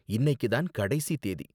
இன்னைக்கி தான் கடைசி தேதி.